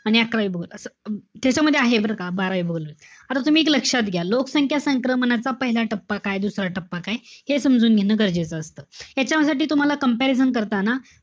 आणि अकरावी भूगोल असं. त्याच्यामध्ये आहे बरं का, बारावी भूगोलमध्ये. आता तुम्ही एक लक्षात घ्या. लोकसंख्या संक्रमणाचा पहिला टप्पा काय, दुसरा टप्पा काय, हे समजून घेणं गरजेचं असत. याच्यासाठी तुम्हाला comparison करताना,